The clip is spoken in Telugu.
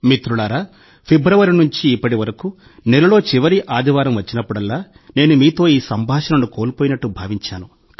మిత్రులారా ఫిబ్రవరి నుండి ఇప్పటి వరకు నెలలో చివరి ఆదివారం వచ్చినప్పుడల్లా నేను మీతో ఈ సంభాషణను కోల్పోయినట్టు భావించాను